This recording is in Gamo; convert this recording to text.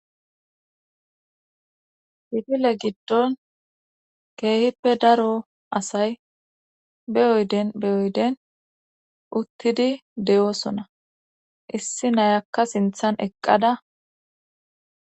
Kifile giddon keehippe daro asay beyoyden uttidi de7osona issi nayakka sinthan eqqada